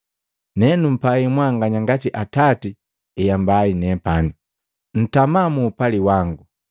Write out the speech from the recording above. Nenumpai mwanganya ngati Atati heambai nepani. Ntama muupali wangu.